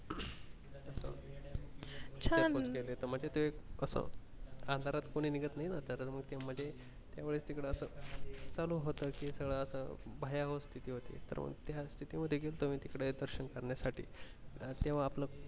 छान! म्हणजे असं ते अंधारात कोणी निघत नाही ना म्हणजे तिकडे असं चालू होत कि असं भयावह होती त्या मध्ये गेलतो मी तिकडे दर्शन करण्या साठी तेव्हा आपलं.